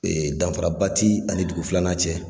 danfaraba ti ani dugu filanan cɛ.